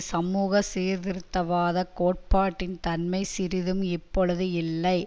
சமூக சீர்திருத்தவாத கோட்பாட்டின் தன்மை சிறிதும் இப்பொழுது இல்லை